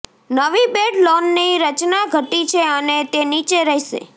નવી બેડ લોનની રચના ઘટી છે અને તે નીચે રહેશે